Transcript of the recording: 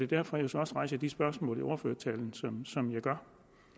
derfor at jeg så også rejser de spørgsmål i ordførertalen som jeg gør